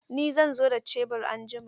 Ni zan zo da shebur anjima.